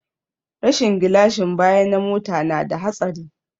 Rashin gilashin baya na mota na da hatsari